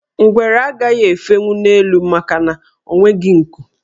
Ngwere agaghị efenwu n' elu makana o nweghi nku.